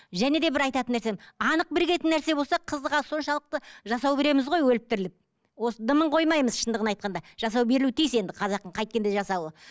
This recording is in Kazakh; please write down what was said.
және де бір айтатын нәрсем анық бірігетін нәрсе болса қызға соншалықты жасау береміз ғой өліп тіріліп осы дымын қоймаймыз шындығын айтқанда жасау берілуі тиіс енді қазақтың қайткенде жасауы